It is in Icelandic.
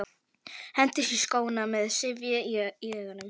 Hendist í skóna með syfju í augunum.